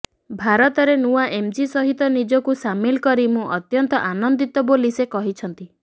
ଭାରତରେ ନୂଆ ଏମ୍ଜି ସହିତ ନିଜକୁ ସାମିଲ କରି ମୁଁ ଅତ୍ୟନ୍ତ ଆନନ୍ଦିତ ବୋଲି ସେ କହିଛନ୍ତି